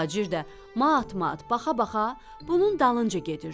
Tacir də mat-mat baxa-baxa bunun dalınca gedirdi.